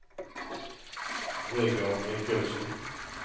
Vegard Michaelsen